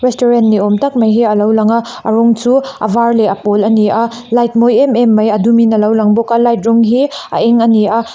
taurant ni awm tak mai hi a lo lang a a rawng chu a var leh a pawl a ni a light mawi em em mai a dum in a lo lang bawk a light rawng hi a eng a ni a.